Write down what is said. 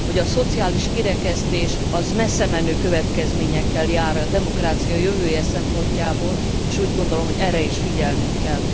A szociális kirekesztés messzemenő következményekkel jár a demokrácia jövője szempontjából, és úgy gondolom, hogy erre is figyelnünk kell.